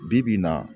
Bi bi in na